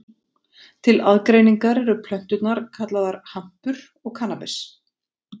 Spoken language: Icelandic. Til aðgreiningar eru plönturnar kallaðar hampur og kannabis.